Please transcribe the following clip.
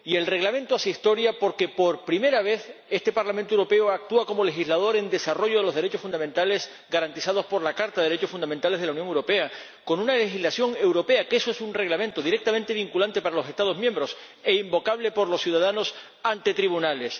Y el Reglamento hace historia porque, por primera vez, este Parlamento Europeo actúa como legislador en el desarrollo de los derechos fundamentales garantizados por la Carta de los Derechos Fundamentales de la Unión Europea con una legislación europea que es un Reglamento directamente vinculante para los Estados miembros e invocable por los ciudadanos ante los tribunales.